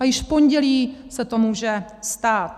A již v pondělí se to může stát.